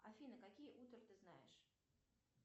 афина какие утра ты знаешь